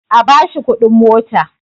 A bashi kudin mota!